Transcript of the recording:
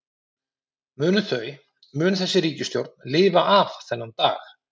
Munu þau, mun þessi ríkisstjórn lifa af þennan dag?